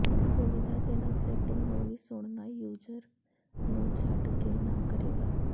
ਸੁਵਿਧਾਜਨਕ ਸੈਟਿੰਗ ਨੂੰ ਵੀ ਸੁਣਨਾ ਯੂਜ਼ਰ ਨੂੰ ਛੱਡ ਕੇ ਨਾ ਕਰੇਗਾ